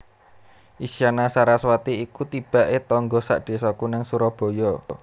Isyana Saraswati iku tibak e tangga sak desaku nang Surabaya